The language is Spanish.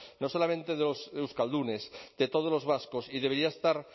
no solamente de los euskaldunes de todos los vascos y debería estar